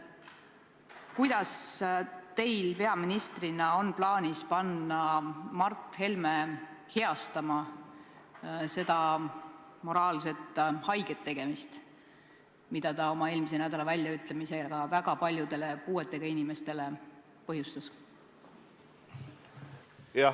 Kuidas teil peaministrina on plaanis panna Mart Helme heastama seda moraalselt haiget tegemist, mida ta oma eelmise nädala väljaütlemisega väga paljudele puuetega inimestele põhjustas?